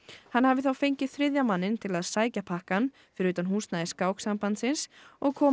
hann hafi þá fengið þriðja manninn til að sækja pakkann fyrir utan húsnæði Skáksambandsins og koma